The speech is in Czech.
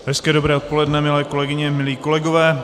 Hezké dobré odpoledne, milé kolegyně, milí kolegové.